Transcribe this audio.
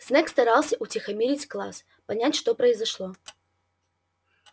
снегг старался утихомирить класс понять что произошло